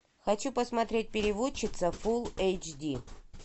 хочу посмотреть переводчица фулл эйч ди